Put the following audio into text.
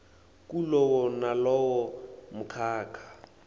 kulowo nalowo mkhakha